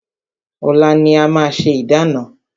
Ọ̀la ni a máa ṣe ìdána.